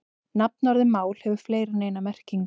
Nafnorðið mál hefur fleiri en eina merkingu.